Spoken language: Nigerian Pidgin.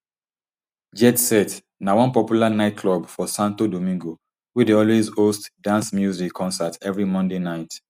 jet set na one popular nightclub for santo domingo wey dey always host dance music concert evri monday night